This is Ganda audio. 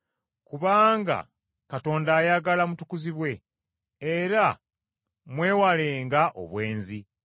Kubanga Katonda ayagala mutukuzibwe, era mwewalenga obwenzi,